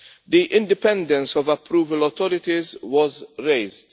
The independence of approval authorities was raised.